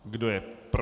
Kdo je proti?